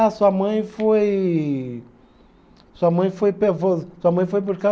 Ah, sua mãe foi, sua mãe foi pe, foi, sua mãe foi buscar